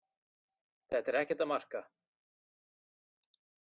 Þetta er ekkert að marka.